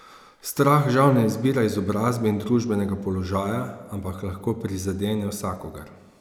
Strah žal ne izbira izobrazbe in družbenega položaja, ampak lahko prizadene vsakogar.